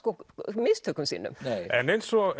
mistökum sínum en eins og